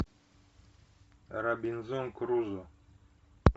робинзон крузо